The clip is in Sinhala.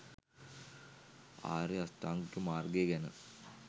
ආර්ය අෂ්ටාංගික මාර්ගය ගැන